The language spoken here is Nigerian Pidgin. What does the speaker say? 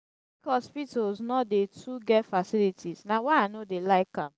hospitals no dey too get facilities na why i no dey like am.